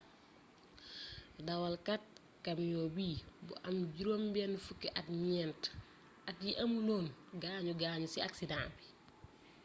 dawalkat camiong bi bu am jirom ben fuk at nient at yi amoulon gagnu gagnu ci aksideng bi